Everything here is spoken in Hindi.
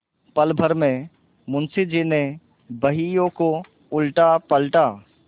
पलभर में मुंशी जी ने बहियों को उलटापलटा